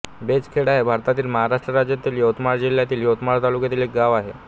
बेचखेडा हे भारतातील महाराष्ट्र राज्यातील यवतमाळ जिल्ह्यातील यवतमाळ तालुक्यातील एक गाव आहे